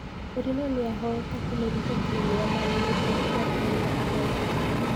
Murinho niahoyete kũmiruta timu ya Man United gwa kahinda karaihu.